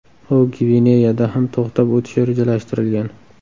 U Gvineyada ham to‘xtab o‘tishi rejalashtirilgan.